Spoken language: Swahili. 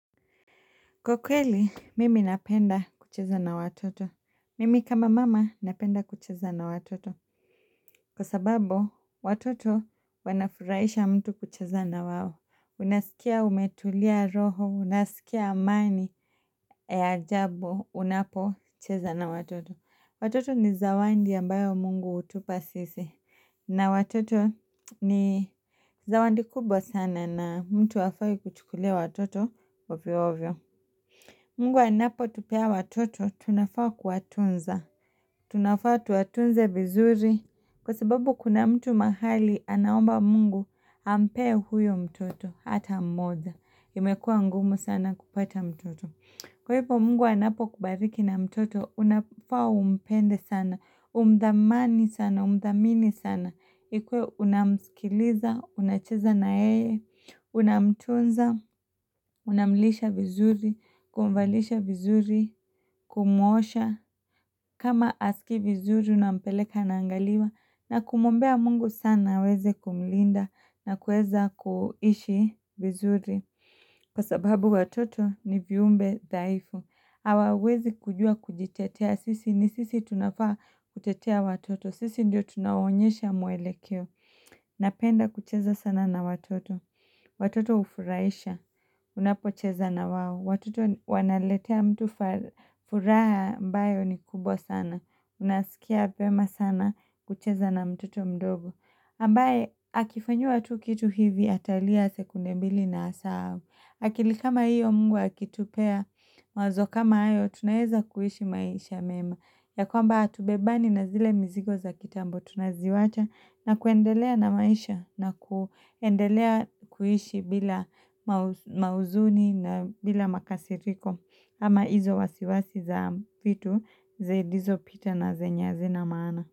Kwa kweli, mimi napenda kucheza na watoto. Mimi kama mama napenda kucheza na watoto. Kwa sababu, watoto wanafuraisha mtu kucheza na wao. Unasikia umetulia roho, unasikia amani, ya ajabu, unapocheza na watoto. Watoto ni zawandi ambayo mungu hutupa sisi. Na watoto ni zawandi kubwa sana na mtu hafai kuchukulia watoto ovyoovyo. Mungu anapotupea watoto tunafaa kuwatunza. Tunafaa tuwatunze vizuri kwa sababu kuna mtu mahali anaomba mungu ampee huyo mtoto hata mmoja. Imekuwa ngumu sana kupata mtoto. Kwa hivyo mungu anapokubariki na mtoto, unafaa umpende sana, umdhamani sana, umdhamini sana, ikue unamsikiliza, unacheza na yeye, unamtunza, unamlisha vizuri, kumvalisha vizuri, kumwosha, kama haskii vizuri unampeleka anaangaliwa, na kumwombea mungu sana aweze kumlinda na kueza kuishi vizuri. Kwa sababu watoto ni viumbe dhaifu, hawawezi kujua kujitetea sisi ni sisi tunafaa kutetea watoto, sisi ndio tunawaonyesha mwelekeo. Napenda kucheza sana na watoto, watoto hufuraisha, unapocheza na wao, watoto wanaletea mtu furaha ambayo ni kubwa sana, unasikia vyema sana kucheza na mtoto mdogo. Ambae akifanyiwa tu kitu hivi atalia sekunde mbili na asahau. Akili kama hiyo mungu akitupea mawazo kama hayo tunaeza kuishi maisha mema. Ya kwamba hatubebani na zile mizigo za kitambo tunaziwacha na kuendelea na maisha na kuendelea kuishi bila mauzuni na bila makasiriko ama hizo wasiwasi za vitu zailizopita na zenye azina maana.